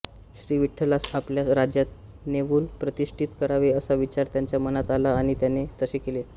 श्रीविठ्ठलास आपल्या राज्यात नेवून प्रतिष्ठीत करावे असा विचार त्याच्या मनात आला आणि त्याने तसे केले